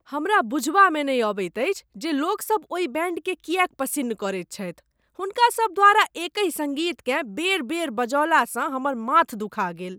हमरा बुझबामे नहि अबैत अछि जे लोकसभ ओहि बैंडकेँ किएक पसिन्न करैत छथि। हुनकासभ द्वारा एकहि सङ्गीतकेँ बेर बेर बजौलासँ हमर माथ दुखा गेल।